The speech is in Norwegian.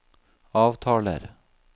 avtaler